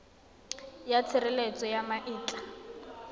ya tshireletso ya ma etla